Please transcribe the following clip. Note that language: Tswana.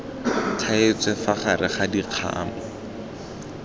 thaetswe fa gare ga dikgamu